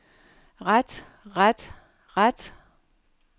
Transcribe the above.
ret ret ret